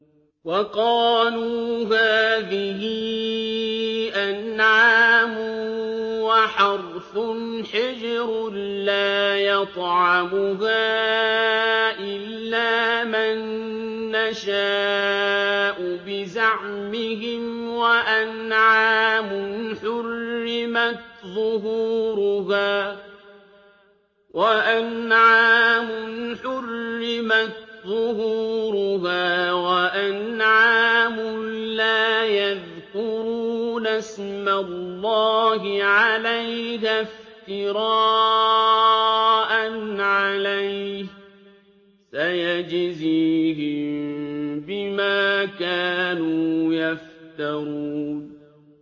وَقَالُوا هَٰذِهِ أَنْعَامٌ وَحَرْثٌ حِجْرٌ لَّا يَطْعَمُهَا إِلَّا مَن نَّشَاءُ بِزَعْمِهِمْ وَأَنْعَامٌ حُرِّمَتْ ظُهُورُهَا وَأَنْعَامٌ لَّا يَذْكُرُونَ اسْمَ اللَّهِ عَلَيْهَا افْتِرَاءً عَلَيْهِ ۚ سَيَجْزِيهِم بِمَا كَانُوا يَفْتَرُونَ